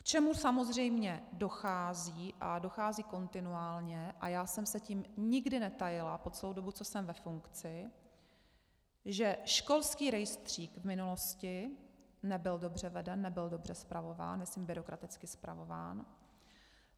K čemu samozřejmě dochází, a dochází kontinuálně, a já jsem se tím nikdy netajila po celou dobu, co jsem ve funkci, že školský rejstřík v minulosti nebyl dobře veden, nebyl dobře spravován, myslím byrokraticky spravován.